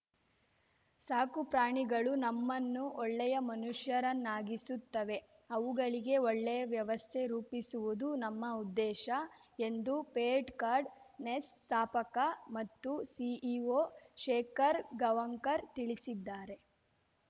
ಸಾಕುಪ್ರಾಣಿಗಳು ನಮ್ಮನ್ನು ಒಳ್ಳೆಯ ಮನುಷ್ಯರನ್ನಾಗಿಸುತ್ತವೆ ಅವುಗಳಿಗೆ ಒಳ್ಳೆಯ ವ್ಯವಸ್ಥೆ ರೂಪಿಸುವುದು ನಮ್ಮ ಉದ್ದೇಶ ಎಂದು ಪೆಟ್‌ಕಾರ್ಟ್‌ ನೆಸ್ಟ್‌ ಸ್ಥಾಪಕ ಮತ್ತು ಸಿಇಓ ಶೇಖರ್‌ ಗಾಂವ್ಕರ್‌ ತಿಳಿಸಿದ್ದಾರೆ